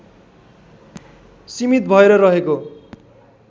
सीमित भएर रहेको